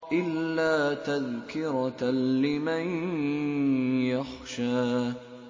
إِلَّا تَذْكِرَةً لِّمَن يَخْشَىٰ